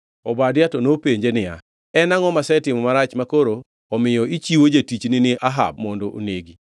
Obadia to nopenje niya, “En angʼo masetimo marach makoro omiyo ichiwo jatichni ni Ahab mondo onegi?